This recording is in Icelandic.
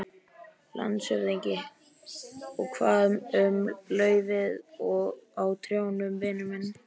LANDSHÖFÐINGI: Og hvað um laufið á trjánum, vinur minn.